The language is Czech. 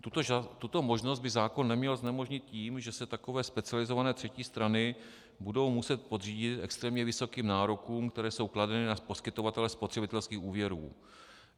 Tuto možnost by zákon neměl znemožnit tím, že se takové specializované třetí strany budou muset podřídit extrémně vysokým nárokům, které jsou kladeny na poskytovatele spotřebitelských úvěrů.